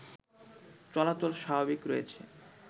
চলাচল স্বাভাবিক রয়েছে